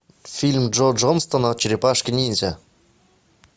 фильм джо джонстона черепашки ниндзя